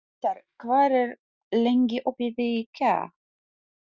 Austar, hvað er lengi opið í IKEA?